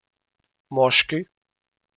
Moški!